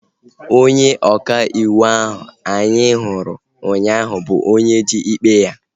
Onye ọka iwu ahu anyị hụrụ ụnyaahụ bụ onye ji ikpe ha